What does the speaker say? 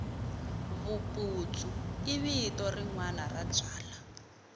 vuputsu i vito rinwani ra byala